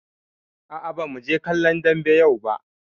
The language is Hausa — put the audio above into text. Aa, ba mu je kallon dambe yau ba